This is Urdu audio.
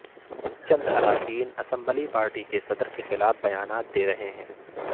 چند اراکین اسمبلی پارٹی کےصدر کےخلاف بیانات دے رہے ہیں